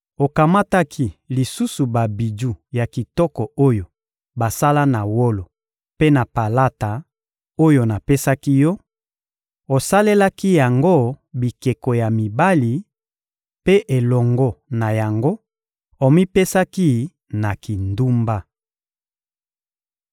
Okamataki lisusu babiju ya kitoko oyo basala na wolo mpe na palata oyo napesaki yo, osalelaki yango bikeko ya mibali; mpe elongo na yango, omipesaki na kindumba.